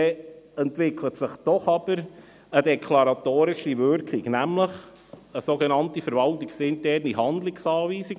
Es entwickelt sich nämlich eine sogenannte verwaltungsinterne Handlungsanweisung.